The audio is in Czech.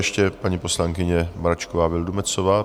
Ještě paní poslankyně Mračková Vildumetzová.